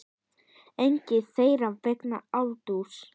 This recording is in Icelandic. Engin þeirra vegna aldurs.